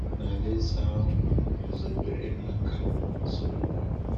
Na alaeze ahụ guzobere n’aka Solomon.